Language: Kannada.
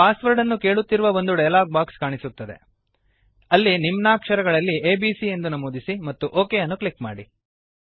ಪಾಸ್ ವರ್ಡ್ ಅನ್ನು ಕೇಳುತ್ತಿರುವ ಒಂದು ಡಯಲಾಗ್ ಬಾಕ್ಸ್ ಕಾಣಿಸುತ್ತದೆ ಅಲ್ಲಿ ನಿಮ್ನಾಕ್ಷರಗಳಲ್ಲಿ ಎಬಿಸಿ ಎಂದು ನಮೂದಿಸಿ ಮತ್ತು ಒಕ್ ಅನ್ನು ಕ್ಲಿಕ್ ಮಾಡಿ